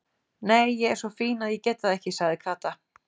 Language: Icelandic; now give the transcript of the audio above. Nei, ég er svo fín að ég get það ekki sagði Kata.